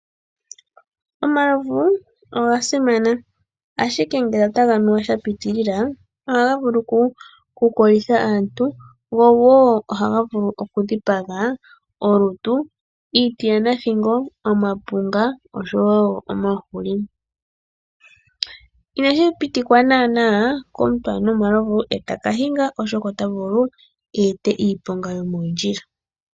Omalovu oga simana ashike ngele otaga nuwa sha pitilila ohaga vulu oku kolitha aantu, gwo wo ohaga vulu oku dhipaga olutu, iiti yanathigo, omapunga oshowo omahuli. Inashi pitikwa naana komuntu a nwe omalovu e ta ka hinga, oshoka ota vulu eete iiponga yomooondjila.